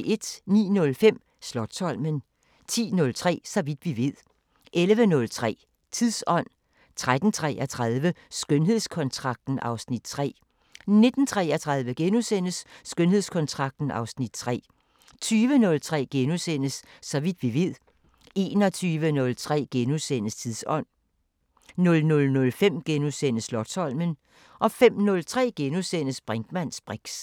09:05: Slotsholmen 10:03: Så vidt vi ved 11:03: Tidsånd: 13:33: Skønhedskontrakten (Afs. 3) 19:33: Skønhedskontrakten (Afs. 3)* 20:03: Så vidt vi ved * 21:03: Tidsånd: * 00:05: Slotsholmen * 05:03: Brinkmanns briks *